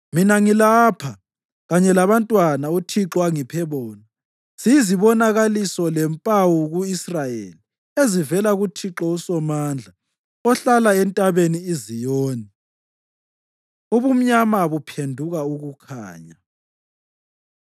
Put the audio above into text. Mina ngilapha, kanye labantwana uThixo angiphe bona. Siyizibonakaliso lempawu ku-Israyeli ezivela kuThixo uSomandla, ohlala entabeni iZiyoni. Ubumnyama Buphenduka Ukukhanya